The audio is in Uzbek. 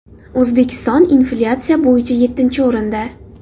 O‘zbekiston – inflyatsiya bo‘yicha yettinchi o‘rinda.